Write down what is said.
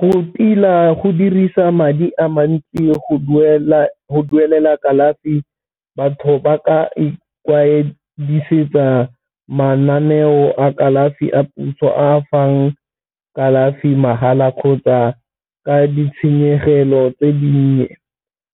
Go tila go dirisa madi a mantsi go duelela kalafi batho ba ka ikwadisetsa mananeo a kalafi a puso a fang kalafi mahala kgotsa ka ditshenyegelo tse dinnye,